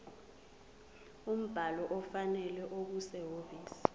umbhalo ofanele okusehhovisi